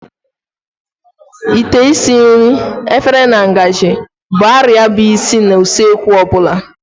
Ite esi nri, efere na ngaji bụ arịa bụ isi na kichin ọ bụla.